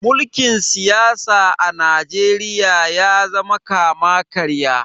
mulkin siyasa a najeriya ya zama kama karya